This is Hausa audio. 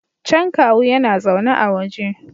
Can kawu yana zaune a waje